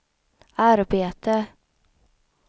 arbete